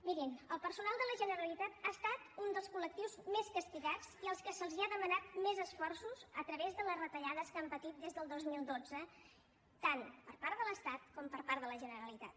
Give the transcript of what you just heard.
mirin el personal de la generalitat ha estat un dels col·lectius més castigats i al qual s’ha demanat més esforços a través de les retallades que han patit des del dos mil dotze tant per part de l’estat com per part de la generalitat